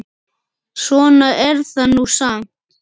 Svona er það nú samt.